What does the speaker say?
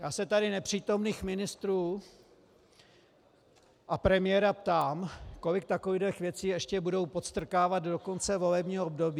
Já se tady nepřítomných ministrů a premiéra ptám, kolik takovýchto věcí ještě budou podstrkávat do konce volebního období.